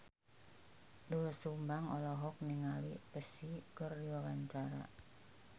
Doel Sumbang olohok ningali Psy keur diwawancara